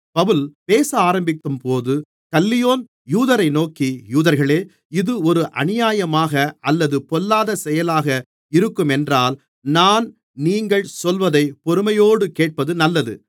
பவுல் பேச ஆரம்பிக்கும்போது கல்லியோன் யூதரை நோக்கி யூதர்களே இது ஒரு அநியாயமாக அல்லது பொல்லாத செயலாக இருக்குமென்றால் நான் நீங்கள் சொல்வதை பொறுமையோடு கேட்பது நல்லது